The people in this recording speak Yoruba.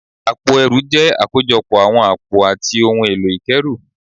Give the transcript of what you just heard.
Àpò ẹrù jẹ́ àkójọpọ̀ àwọn àpò àti ohun èlò ìkẹ́rù